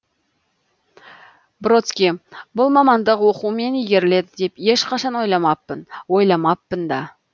бродский бұл мамандық оқумен игеріледі деп ешқашан ойламаппын ойламаппын да